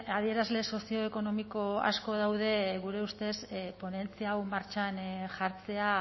adierazle sozioekonomiko asko daude gure ustez ponentzia hau martxan jartzea